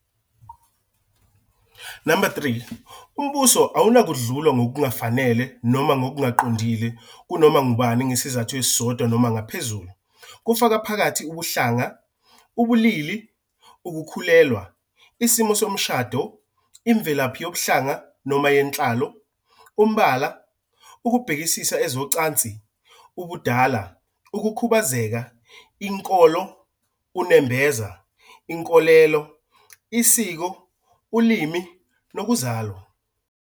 Number 3, umbuso awunakudlulwa ngokungafanele noma ngokungaqondile kunoma ngubani ngesizathu esisodwa noma ngaphezulu, kufaka phakathi ubuhlanga, ubulili, ubulili, ukukhulelwa, isimo somshado, imvelaphi yobuhlanga noma yenhlalo, umbala, ukubhekisisa ezocansi, ubudala, ukukhubazeka, inkolo, unembeza, inkolelo, isiko, ulimi nokuzalwa.